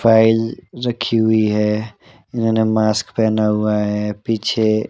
file रखी हुई है इन्होंने मास्क पहना हुआ है पीछे--